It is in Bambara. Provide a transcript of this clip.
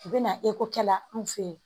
U bɛna eko kɛla anw fe ye